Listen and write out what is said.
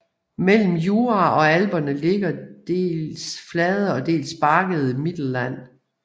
Mellem Jura og Alperne ligger det dels flade dels bakkede Mittelland